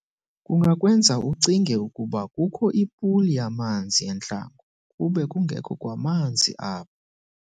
Kungakwenza ucinge ukuba kukho ipuli yamanzi entlango, kube kungekho kwamanzi apho.